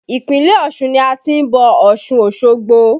Ìpínlẹ̀ Ọ̀ṣun ni a ti ń bọ̀ Ọ̀ṣun Osogbo